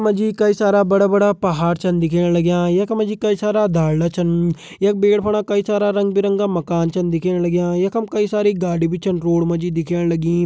मा जी कई सारा बड़ा बड़ा पहाड़ छन दिखेण लग्यां यखमा जी कई सारा ढालदा छन यख पेड़ फणा कई सारा रंग-बिरंगा मकान छन दिखेण लग्यां यखम कई सारी गाडी भी छन रोड मा जी दिखेण लगीं।